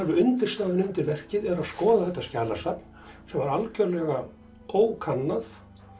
undirstaðan undir verkið að skoða þetta skjalasafn sem var algjörlega ókannað